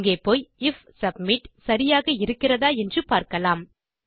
இங்கே போய் if submit சரியாக இருக்கிறதா என்று பார்க்கலாம்